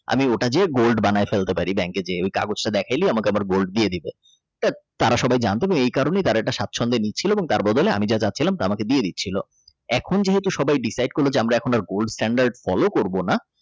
আমি ওটা গিয়ে Gold বানাই ফেলতে পারি bank কে যেয়ে ওই কাগজটা দেখাইলে আমাকে আমার Gold দিয়ে দেবে তারা সবাই জানত তারা সবাই স্বাচ্ছন্দ নিচ্ছিল তার বদলে আমি যা যাচ্ছিলাম তা আমাকে দিয়ে দিচ্ছিল এখন যেহেতু সবাই Decide করল আমরা এখন আর Gold stand follow করবো না।